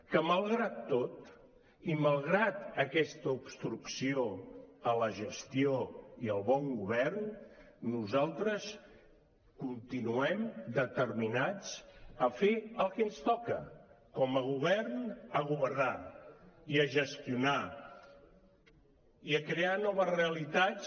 que malgrat tot i malgrat aquesta obstrucció a la gestió i al bon govern nosaltres continuem determinats a fer el que ens toca com a govern a governar i a gestionar i a crear noves realitats